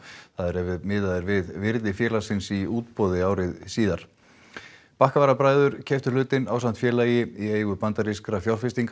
ef miðað er við virði félagsins í útboði ári síðar keyptu hlutinn ásamt félagi í eigu bandarískra